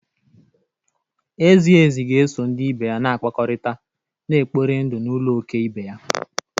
Ezi ezi ga-eso ndị ibe ya na-akpakọrịta, na-ekpori ndụ n’ụlọ òké ibe ya